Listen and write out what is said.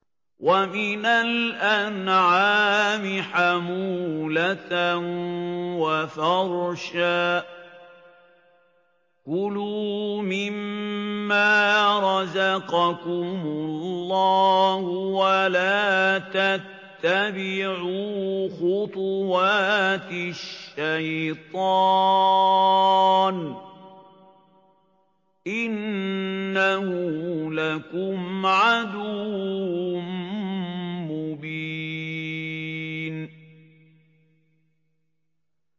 وَمِنَ الْأَنْعَامِ حَمُولَةً وَفَرْشًا ۚ كُلُوا مِمَّا رَزَقَكُمُ اللَّهُ وَلَا تَتَّبِعُوا خُطُوَاتِ الشَّيْطَانِ ۚ إِنَّهُ لَكُمْ عَدُوٌّ مُّبِينٌ